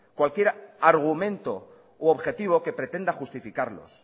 cualquier argumento u objetivo que pretenda justificarlos